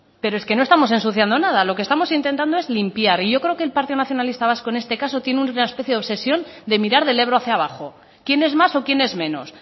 pero es que no estamos ensuciando nada lo que estamos intentando es limpiar y yo creo que el partido nacionalista en este caso tiene una especie de obsesión de mirar del ebro hacia abajo quién es más o quién es menos